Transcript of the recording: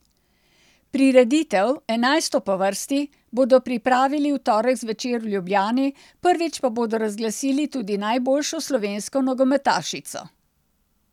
Prireditev, enajsto po vrsti, bodo pripravili v torek zvečer v Ljubljani, prvič pa bodo razglasili tudi najboljšo slovensko nogometašico.